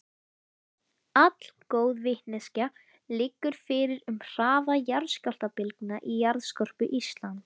Allgóð vitneskja liggur fyrir um hraða jarðskjálftabylgna í jarðskorpu Íslands.